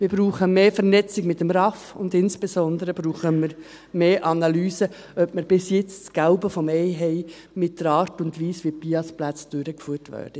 Wir brauchen mehr Vernetzung mit dem RAV, und insbesondere brauchen wir mehr Analyse, ob wir bis jetzt das Gelbe vom Ei haben, mit der Art und Weise, wie die BIAS-Plätze durchgeführt werden.